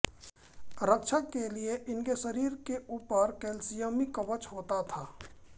रक्षा के लिए इनके शरीर के ऊपर कैल्सियमी कवच होता था